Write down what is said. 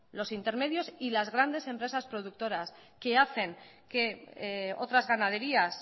los intermedios y las grandes empresas productoras que hacen que otras ganaderías